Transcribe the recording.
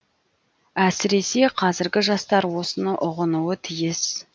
әсіресе қазіргі жастар осыны ұғынуы тиіс